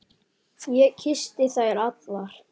Kyssti ég þær allar.